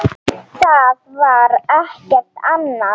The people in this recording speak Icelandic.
Það var ekkert annað.